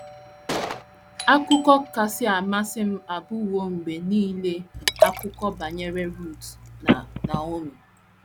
“ Akụkọ kasị amasị m abụwo mgbe nile akụkọ banyere Rut na Naomi.